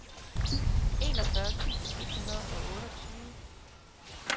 enogfyrre tusind et hundrede og otteogtyve